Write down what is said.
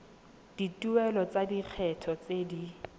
dituelo tsa lekgetho tse di